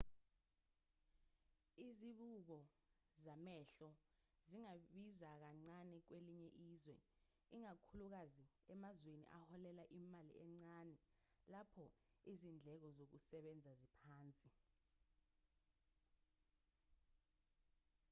izibuko zamehlo zingabiza kancane kwelinye izwe ikakhulukazi emazweni aholela imali encane lapho izindleko zokusebenza ziphansi